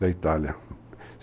da Itália.